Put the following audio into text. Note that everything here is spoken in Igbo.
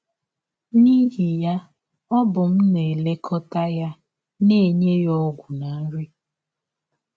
N’ihi ya, ọ bụ m na - elekọta ya, na - enye ya ọgwụ na nri.